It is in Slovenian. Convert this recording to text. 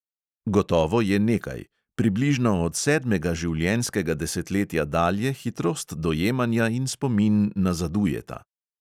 Gotovo je nekaj: približno od sedmega življenjskega desetletja dalje hitrost dojemanja in spomin nazadujeta.